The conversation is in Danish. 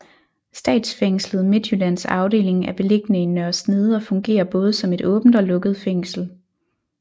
Statsfængslet Midtjyllands afdeling er beliggende i Nørre Snede og fungerer både som et åbent og lukket fængsel